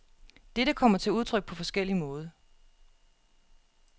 Dette kommer til udtryk på forskellig måde.